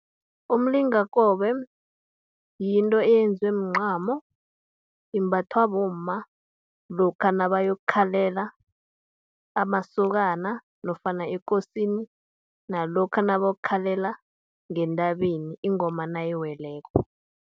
Umlingakobe, yinto eyenziwe mncamo imbathwa bomma, lokha nabayokukhalela amasokana, nofana ekosini, nalokha nabayokukhalela ngentabeni ingoma nayiweleko.